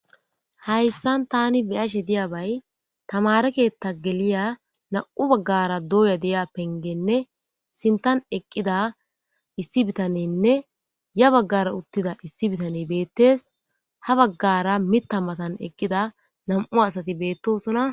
hayssan tani beyashe diya bay tamareketta geliya nam7u baggara dooya deya pengenne sintan eqqida issi bitanenne ya baggara uttida issi bitaney beettes ha baggara mita matan eqqida nam7u asati beettosona